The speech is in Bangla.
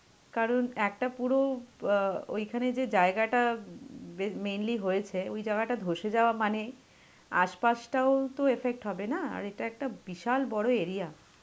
কারণ একটা পুরো অ্যাঁ ওইখানে যে জায়গাটা উম mainly হয়েছে ওই জায়গাটা ধসে যাওয়া মানে আর আশপাশটাও তো effect হবে না, আর এটা একটা বিশাল বড় area.